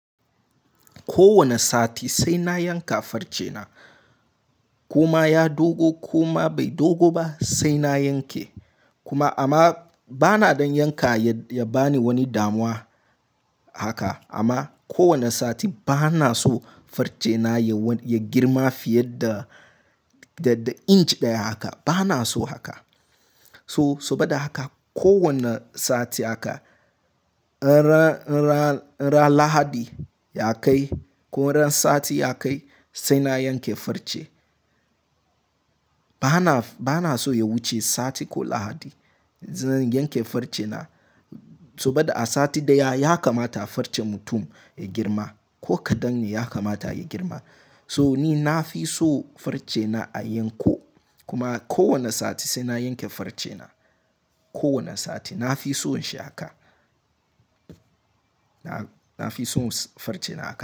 Ko wane sati sai na yanka farce na. Koma ya dogo ko ma bai dogo ba sai na yanke. Kuma amma bana don yanka ya ba ni wani damuwa haka. Amma kowane sati bana so farce na ya girma fiye da inch ɗaya haka. Bana so haka. To sobada haka ko wane sati haka, in ran Lahadi ya kai ko ran sati ya kai sai na yanke farce. Bana so ya wuce sati ko Lahadi zan yanke farce na. Sobada a sati daya ya kamata farce mutum ya girma ko kaɗan ne ya kamata ya girma. So ni na fi so farce na a yanko kuma kowane sati sai na yanke farce na. Ko wane sati na fi son shi haka. Na fi son farce na haka.